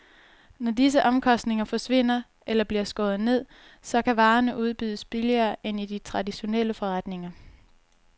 Når disse omkostninger forsvinder eller bliver skåret ned, så kan varerne udbydes billigere end i de traditionelle forretninger.